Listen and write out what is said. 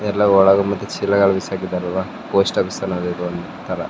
ಎಲ್ಲಾ ಒಳಗ್ ಬಟಿಗ್ ಸಿಲ್ಲಗಳ್ ಬಿಸಾಕಿದರಲ್ವ ಪೋಸ್ಟ್ ಓಫೀಸ್ ಅಲ್ ಅದೇ ತರ.